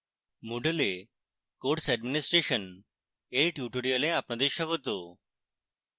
moodle এ course administration এর tutorial আপনাদের স্বাগত